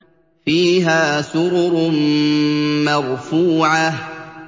فِيهَا سُرُرٌ مَّرْفُوعَةٌ